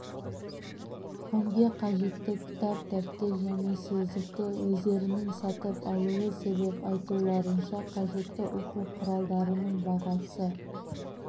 пәнге қажетті кітап дәптер және сөздікті өздерінің сатып алуы себеп айтуларынша қажетті оқу құралдарының бағасы